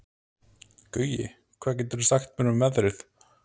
Gaui, hvað geturðu sagt mér um veðrið?